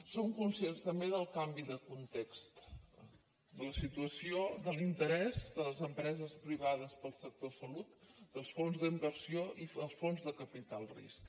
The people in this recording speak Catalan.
som conscients també del canvi de context de la situació de l’interès de les empreses privades del sector salut dels fons d’inversió i els fons de capital risc